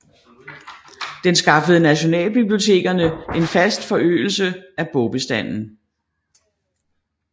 Den skaffede nationalbibliotekerne en fast forøgelse af bogbestanden